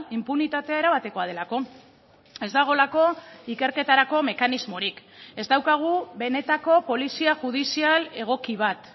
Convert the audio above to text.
inpunitatea erabatekoa delako ez dagoelako ikerketarako mekanismorik ez daukagu benetako polizia judizial egoki bat